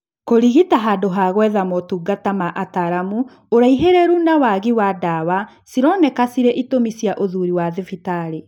Kũĩrigita handũ ha gwetha motungata ma ataramu , ũraihĩrĩru na waagi wa dawa cironeka cirĩ itũmi cia ũthuri wa thibitarĩ